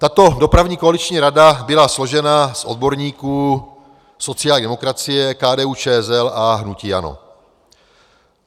Tato dopravní koaliční rada byla složena z odborníků sociální demokracie, KDU-ČSL a hnutí ANO.